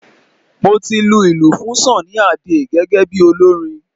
Mo ti lu ilù fún Sunny Adé gẹ́gẹ́ bí olórin